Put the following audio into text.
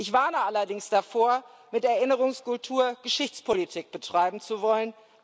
Ich warne allerdings davor, mit Erinnerungskultur Geschichtspolitik betreiben zu wollen.